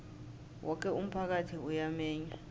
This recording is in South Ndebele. woke umphakathi uyamenywa